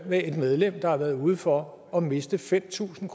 med et medlem der har været ude for at miste fem tusind